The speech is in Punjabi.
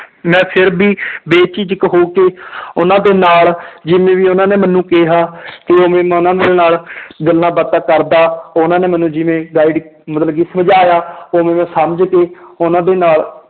ਮੈਂ ਫਿਰ ਵੀ ਬੇਝਿਜਕ ਹੋ ਕੇ ਉਹਨਾਂ ਦੇ ਨਾਲ ਜਿਵੇਂ ਵੀ ਉਹਨਾਂ ਨੇ ਮੈਨੂੰ ਕਿਹਾ ਕਿ ਉਹਨਾਂ ਦੇ ਨਾਲ ਗੱਲਾਂ ਬਾਤਾਂ ਕਰਦਾ ਉਹਨਾਂ ਨੇ ਮੈਨੂੰ ਜਿਵੇਂ guide ਮਤਲਬ ਕਿ ਸਮਝਾਇਆ ਉਵੇਂ ਮੈਂ ਸਮਝ ਕੇ ਉਹਨਾਂ ਦੇ ਨਾਲ